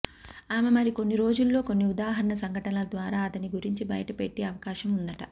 ఆమె మరికొన్ని రోజుల్లో కొన్ని ఉదాహరణ సంఘటనల ద్వారా అతని గురించి బయటపెట్టి ఆవకాశం ఉందట